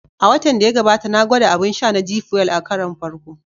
A watan da ya gabata, na gwada abun sha na "G Fuel" a karon farko